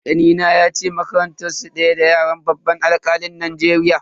Kanina yace makarantar su daya da ya'yan babban alkalin Najeriya.